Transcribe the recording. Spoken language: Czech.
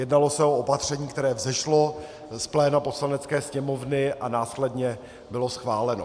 Jednalo se o opatření, které vzešlo z pléna Poslanecké sněmovny a následně bylo schváleno.